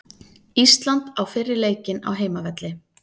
Ísland á fyrri leikinn á heimavelli